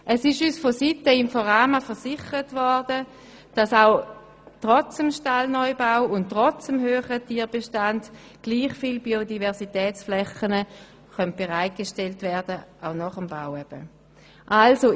Uns wurde von Seiten des INFORAMA versichert, dass trotz des Stallneubaus und trotz des höheren Tierbestands gleich viele Biodiversitätsflächen bereitgestellt werden können.